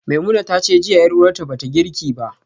Nabilah tace jiya yar uwarta bata girki ba